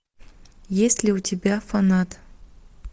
есть ли у тебя фанат